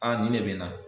Aa nin ne bɛ n na